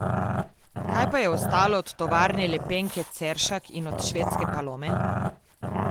Kaj pa je ostalo od Tovarne lepenke Ceršak in od švedske Palome?